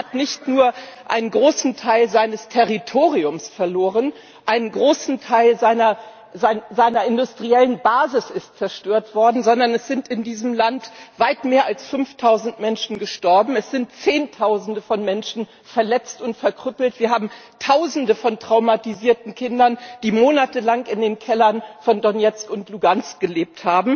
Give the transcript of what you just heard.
Das Land hat nicht nur einen großen Teil seines Territoriums verloren ein großer Teil seiner industriellen Basis ist zerstört worden sondern es sind in diesem Land weit mehr als 5000 Menschen gestorben, es sind Zehntausende von Menschen verletzt und verkrüppelt, wir haben Tausende von traumatisierten Kindern, die monatelang in den Kellern von Donezk und Luhansk gelebt